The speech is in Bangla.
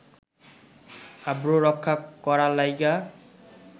আব্রু রক্ষা করার লাইগ্যা